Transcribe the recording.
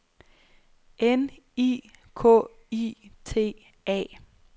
N I K I T A